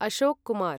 Ashok Kumar